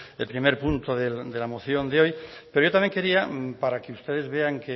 el primer punto de la moción de hoy pero yo también quería para que ustedes vean